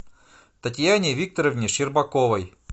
татьяне викторовне щербаковой